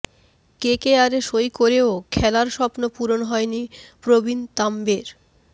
কেকেআরে সই করেও খেলার স্বপ্ন পূরণ হয়নি প্রবীণ তাম্বের